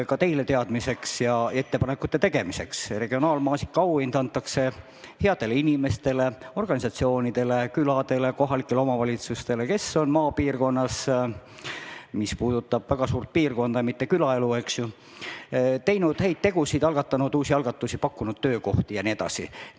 Ka teile teadmiseks ja ettepanekute tegemiseks: regionaalmaasika auhind antakse headele inimestele, organisatsioonidele, küladele, kohalikele omavalitsustele, kes on maapiirkonnas – see puudutab väga suurt piirkonda, mitte ainult külaelu – teinud häid tegusid, algatanud uusi algatusi, pakkunud töökohti jne.